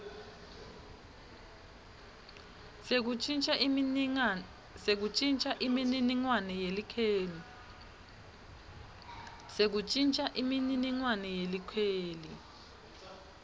sekuntjintja imininingwane yelikheli